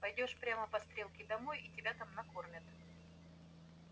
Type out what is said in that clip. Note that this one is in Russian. пойдёшь прямо по стрелке домой и тебя там накормят